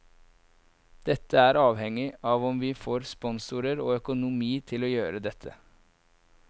Dette er avhengig av om vi får sponsorer og økonomi til å gjøre dette.